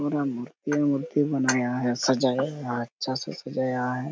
पूरा मूर्ति मूर्ति बनाया है सजाया है अच्छा से सजाया है। ।